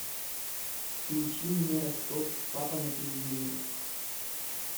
включи мне ростов папа на телевизоре